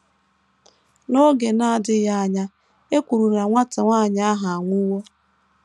N’oge na - adịghị anya, e kwuru na nwata nwanyị ahụ anwụwo.